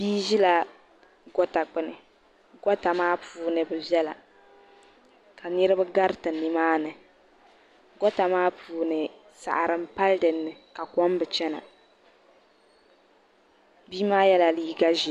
bia ʒila gɔta gbunni gɔta maa puuni bi viɛla ka niriba gariti ni maa ni gɔta maa puuni saɣiri m-pali dini ka kom bi chana bia maa yela liiga ʒee